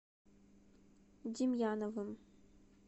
демьяновым